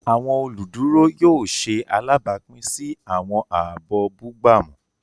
Awọn oluduro yóò ṣe alabapin si awọn aabọ bugbamu.